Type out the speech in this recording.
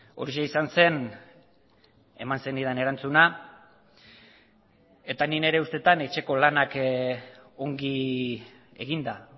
horixe izan zen eman zenidan erantzuna eta nik nire ustetan etxeko lanak ongi eginda